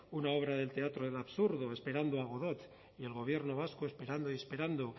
una obra del teatro de lo absurdo esperando a godot y el gobierno vasco esperando y esperando